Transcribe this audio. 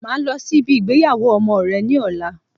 Máa lọ sí ibi ìgbéyàwó ọmọ rẹ ní ọ̀la